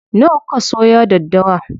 Nawa kuka soya daddawa?